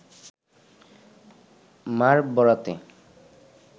মার বরাতে